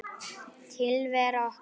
Tilvera okkar